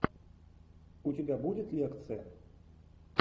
у тебя будет лекция